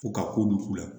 Ko ka ko don k'u la